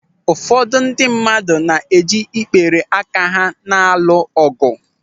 Ụfọdụ ndị mmadụ na-eji ikpere aka ha na-alụ ọgụ.